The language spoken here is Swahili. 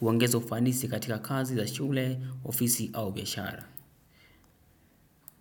huongeza ufanisi katika kazi za shule ofisi au biashara.